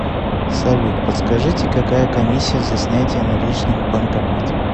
салют подскажите какая комиссия за снятие наличных в банкомате